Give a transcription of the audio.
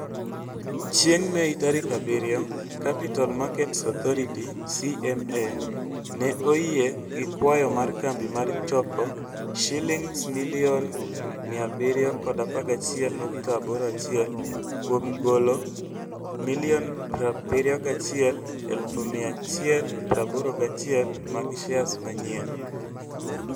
Chieng' Mei tarik 7, Capital Markets Authority (CMA) ne oyie gi kwayo mar kambi mar choko Sh711.81 million kuom golo 71,181,000 mag shares manyien.